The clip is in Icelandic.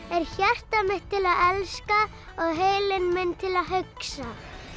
er hjarta mitt til að elska og heilinn minn til að hugsa